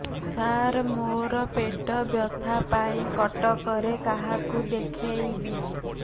ସାର ମୋ ର ପେଟ ବ୍ୟଥା ପାଇଁ କଟକରେ କାହାକୁ ଦେଖେଇବି